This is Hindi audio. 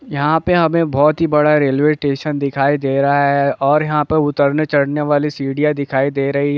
यहाँ पे हमे बहुत ही बड़ा रेलवे स्टेशन दिखाई दे रहा है और यहाँ पे उतरने चढ़ने वाली सीढ़ियाँ दिखाई दे रही--